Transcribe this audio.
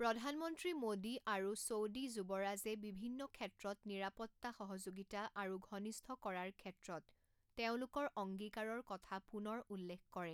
প্ৰধানমন্ত্ৰী মোদী আৰু ছৌডি যুৱৰাজে বিভিন্ন ক্ষেত্ৰত নিৰাপত্তা সহযোগিতা আৰু ঘনিষ্ঠ কৰাৰ ক্ষেত্ৰত তেওঁলোকৰ অঙ্গীকাৰৰ কথা পুনৰ উল্লেখ কৰে।